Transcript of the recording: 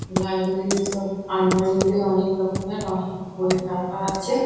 Library -র সব আলমারিতে অনেক রকমের অনেক বই রাখা আছে।